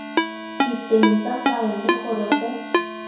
diteng tsa faele gore go